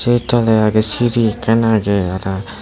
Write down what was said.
ei toley agey siri ekkan agey.